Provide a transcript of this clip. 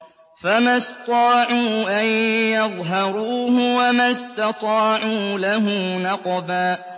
فَمَا اسْطَاعُوا أَن يَظْهَرُوهُ وَمَا اسْتَطَاعُوا لَهُ نَقْبًا